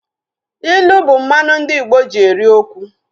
Ịlụ bụ mmanụ ndị Igbo ji eri okwu